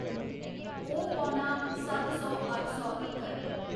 ओह् पौना सत्त सौ अट्ठ सौ तक्कर।